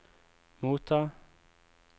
motta